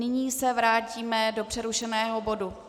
Nyní se vrátíme do přerušeného bodu